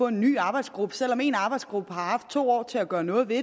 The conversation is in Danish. en ny arbejdsgruppe selv om en arbejdsgruppe har haft to år til at gøre noget ved